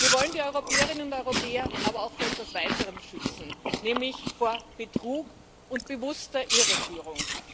Wir wollen die Europäerinnen und Europäer aber auch vor etwas Weiterem schützen nämlich vor Betrug und bewusster Irreführung.